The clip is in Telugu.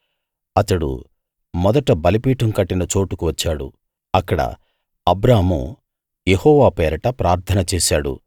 అతడు మొదట బలిపీఠం కట్టిన చోటుకు వచ్చాడు అక్కడ అబ్రాము యెహోవా పేరట ప్రార్థన చేశాడు